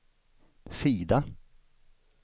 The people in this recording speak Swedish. sida